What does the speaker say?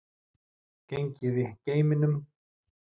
Gengið í geimnum